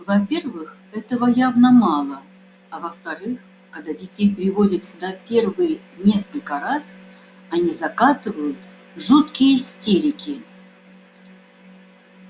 во-первых этого явно мало а во-вторых когда детей приводят сюда в первые несколько раз они закатывают жуткие истерики